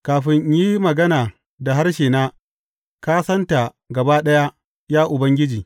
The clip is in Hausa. Kafin in yi magana da harshena ka santa gaba ɗaya, ya Ubangiji.